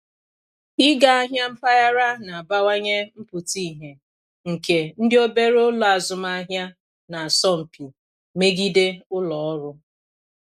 Ịga ahịa mpaghara na-abawanye mpụta ìhè nke ndị obere ụlọ azụmahịa na-asọ mpi megide ụlọ ọrụ.